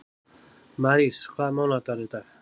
Marís, hvaða mánaðardagur er í dag?